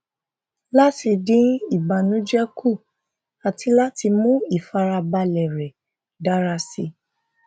láti dín ìbànújẹ kù àti láti mú ìfarabalẹ rẹ dára síi